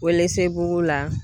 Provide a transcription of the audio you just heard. Welesebugu la